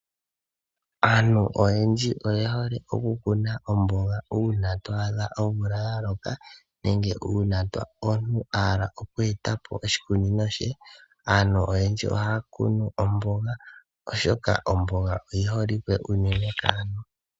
Aantu oyendji oyehole okukuna oomboga una toadha omvula yaloka nenge una omuntu ahala okueta po oshikunino she, aantu oyendji ohaya kunu omboga oshoka omboga oyiholike unene kaantu.